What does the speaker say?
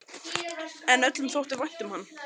En öllum þótti vænt um hann.